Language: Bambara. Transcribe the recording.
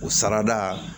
O sarada